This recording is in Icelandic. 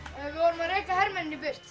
vorum að reka hermennina í burt